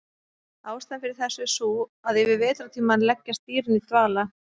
Ástæðan fyrir þessu er sú að yfir vetrartímann leggjast dýrin í dvala.